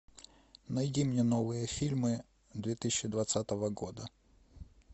найди мне новые фильмы две тысячи двадцатого года